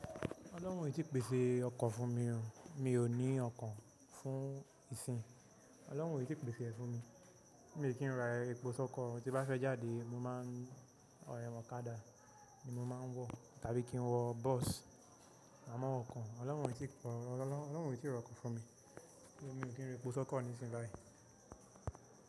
Ọlọ́hun ò tí pèsè ọkọ̀ fún mi o, mi ò ní ọkọ̀ fún ìsìn. Ọlọ́hun ò tí pèsè ẹ̀ fún mi. Mi ò kí ń ra epo sọkọ. Ti n bá fẹ́ jáde, mo máa ń ọ̀kadà ni mo máa ń wọ tàbí kí n wọ bọ́ọ̀sì. A mọ wọkọ̀. Ọlọ́hun ò tí rọ ọkọ̀ fún mi. Mi ò kí ń ra epo sọkọ nísìnyí báyìí.